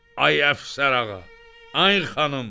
Ay əfsər ağa, ay xanım!